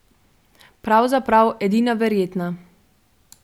Pravzaprav edina verjetna.